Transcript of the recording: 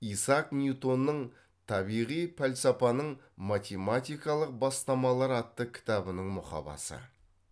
исаак ньютонның табиғи пәлсапаның математикалық бастамалары атты кітабының мұқабасы